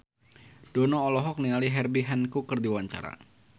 Dono olohok ningali Herbie Hancock keur diwawancara